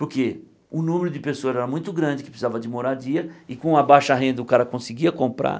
Porque o número de pessoas era muito grande, que precisava de moradia, e com a baixa renda o cara conseguia comprar.